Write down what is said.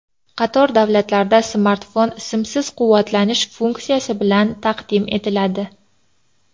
Qator davlatlarda smartfon simsiz quvvatlantirish funksiyasi bilan taqdim etiladi.